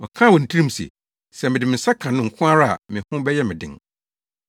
Ɔkaa wɔ ne tirim se, “Sɛ mede me nsa ka no nko ara a, me ho bɛyɛ me den.”